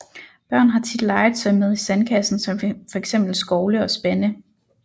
Børn har tit legetøj med i sandkassen som for eksempel skovle og spande